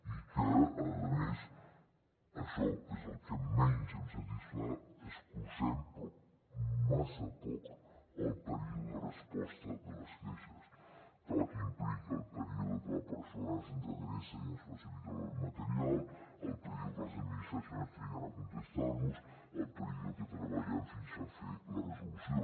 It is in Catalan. i que a més això és el que menys em satisfà escurcem però massa poc el període de resposta de les queixes que implica el període que la persona se’ns adreça i ens facilita el material el període que les administracions triguen a contestar nos el període que treballem fins a fer la resolució